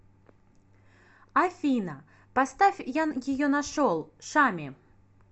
афина поставь я ее нашел шами